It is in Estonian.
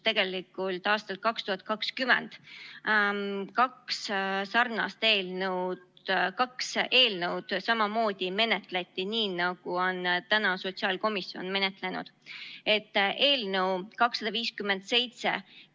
Aastal 2020 menetleti tegelikult kaht eelnõu samamoodi, nagu on täna sotsiaalkomisjon menetlenud.